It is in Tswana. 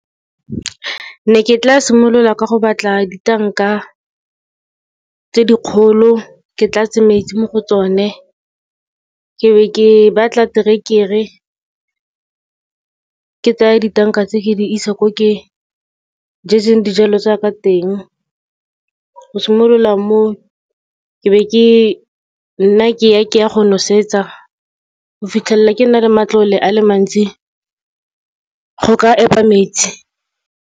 Ne ke tla simolola ka go batla ditanka tse di kgolo, ke tlatse metsi mo go tsone. Ke be ke batla terekere, ke tsaya ditanka tse, ke di isa ko ke jetseng dijalo tsa ka teng. Go simolola mo, ke be ke nna ke ya, ke ya go nosetsa, go fitlhelela ke na le matlole a le mantsi, go ka epa metsi.